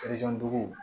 dugu